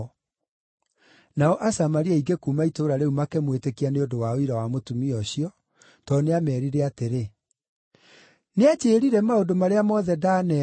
Nao Asamaria aingĩ kuuma itũũra rĩu makĩmwĩtĩkia nĩ ũndũ wa ũira wa mũtumia ũcio, tondũ nĩameerire atĩrĩ, “Nĩanjĩĩrire maũndũ marĩa mothe ndaneeka.”